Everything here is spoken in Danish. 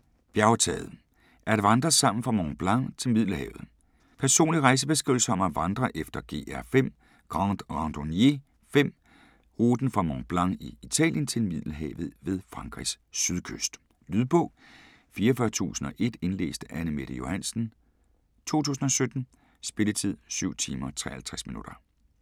Bjergtaget: at vandre sammen fra Mont Blanc til Middelhavet Personlig rejsebeskrivelse om at vandre efter GR5 (Grande Randonnée 5) ruten fra Mont Blanc i Italien til Middelhavet ved Frankrigs sydkyst. Lydbog 44001 Indlæst af Anne-Mette Johansen, 2017. Spilletid: 7 timer, 53 minutter.